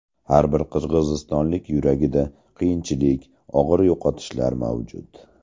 Har bir qirg‘izistonlik yuragida qiyinchilik, og‘ir yo‘qotishlar mavjud.